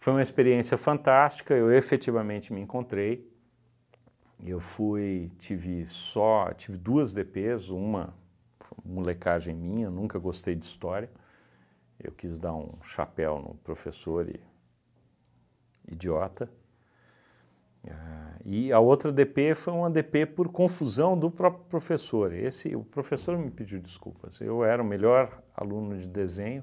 Foi uma experiência fantástica, eu efetivamente me encontrei, eu fui, tive só, tive duas dê pês, uma foi uma molecagem minha, nunca gostei de história, eu quis dar um chapéu no professor e, idiota, a e a outra dê pê foi uma dê pê por confusão do próprio professor, esse o professor me pediu desculpas, eu era o melhor aluno de desenho,